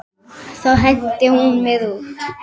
Þá henti hún mér út.